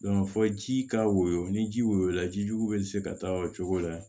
fɔ ji ka woyo ni ji woyola jijugu bɛ se ka taa o cogo la